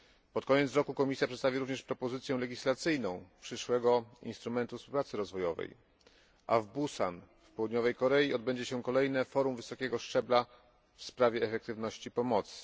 Pod koniec roku Komisja przedstawi również propozycję legislacyjną przyszłego instrumentu współpracy rozwojowej, a w Busan, w Południowej Korei odbędzie się kolejne forum wysokiego szczebla w sprawie efektywności pomocy.